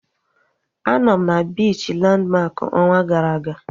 A nọ m na biichi Landmark ọnwa gara aga